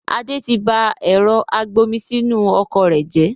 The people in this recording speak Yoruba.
Adé tí bá ẹ̀rọ agbomisinu ọkọ̀ rẹ jẹ